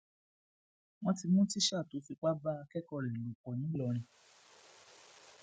wọn ti mú tíṣà tó fipá bá akẹkọọ rẹ lò pọ ńìlọrin